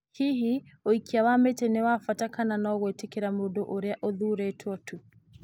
Hihi ũikia wa mĩtĩ nĩ wa bata kana no gwĩtĩkĩra mũndũ ũrĩa ũthuurĩtwo tu?